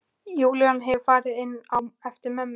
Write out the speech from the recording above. Júlía hefur farið inn á eftir mömmu.